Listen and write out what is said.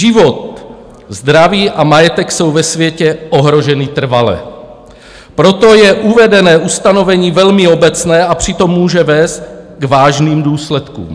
Život, zdraví a majetek jsou ve světě ohroženy trvale, proto je uvedené ustanovení velmi obecné, a přitom může vést k vážným důsledkům.